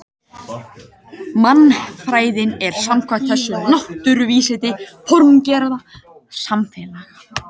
Mannfræðin er samkvæmt þessu náttúruvísindi formgerðar samfélaga.